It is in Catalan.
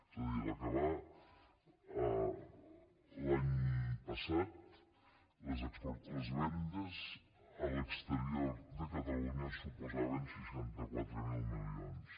és a dir en acabar l’any passat les vendes a l’exterior de catalunya suposaven seixanta quatre mil milions